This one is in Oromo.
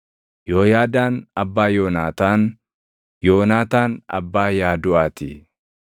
Yooyaadaan abbaa Yoonaataan; Yoonaataan abbaa Yaaduʼaa ti.